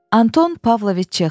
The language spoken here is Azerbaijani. Antón Pavloviç Çexov.